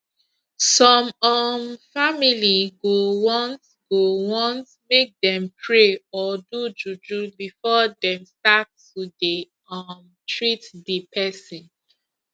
some um family go want go want make dem pray or do juju before dem start to dey um treat di pesin